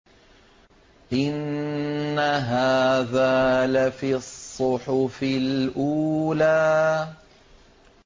إِنَّ هَٰذَا لَفِي الصُّحُفِ الْأُولَىٰ